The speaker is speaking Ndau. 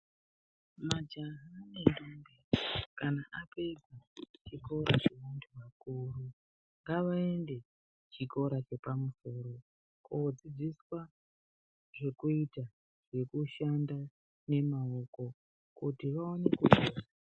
Majaha nendombi kana apedza zvikora zvevantu vakuru vanoenda zvikora zvepamusoro kodzidziswa zvekuita kushanda nemaoko kuti Vaone kushanda.